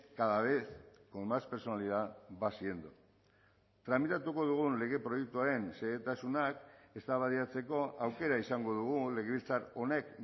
cada vez con más personalidad va siendo tramitatuko dugun lege proiektuaren xehetasunak eztabaidatzeko aukera izango dugu legebiltzar honek